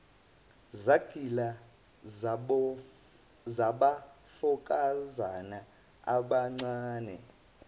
zagila zabafokazana abangaze